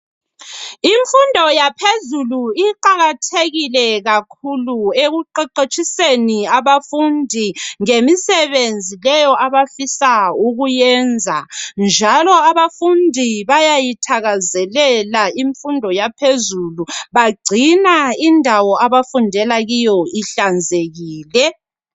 Imfundo yaphezulu iqakathekile kakhulu ekuqeqetshiseni abafundi ngemisebenzi leyo abafisa ukuyenza njalo abafundi bayayithakazelela imfundo yaphezulu bagcina indawo abafundela kiyo ihlanzekile.